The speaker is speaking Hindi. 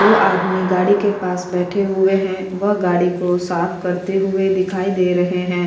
दो आदमी गाडी के पास बैठे हुए है वह गाडी को साफ़ करते हुए दिखाई दे रहे है।